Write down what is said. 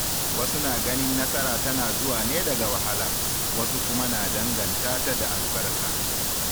Wasu na ganin nasara tana zuwa ne daga wahala, wasu kuma na danganta ta da albarka.